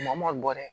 Maa ma gɔ dɛ